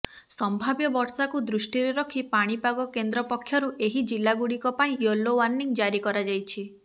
ସମ୍ଭାବ୍ୟ ବର୍ଷାକୁ ଦୃଷ୍ଟିରେ ରଖି ପାଣିପାଗ କେନ୍ଦ୍ର ପକ୍ଷରୁ ଏହି ଜିଲ୍ଲାଗୁଡ଼ିକ ପାଇଁ ୟେଲୋ ୱାର୍ଣ୍ଣିଂ ଜାରି କରାଯାଇଛି